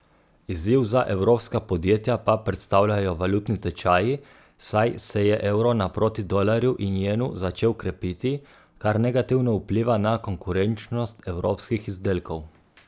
Izziv za evropska podjetja pa predstavljajo valutni tečaji, saj se je evro naproti dolarju in jenu začel krepiti, kar negativno vpliva na konkurenčnost evropskih izdelkov.